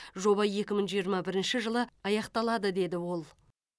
жоба екі мың жиырма бірінші жылы аяқталады деді ол